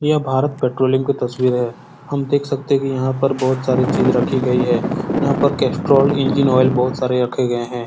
इहां भारत पेट्रोलियम की तस्वीर है। हम देख सकते है कि यहाँ पर बहुत सारी चीज रखी गयी है। यहाँ पर कैस्ट्रोल इंजीन ऑइल बहुत सारे रखे गये हैं।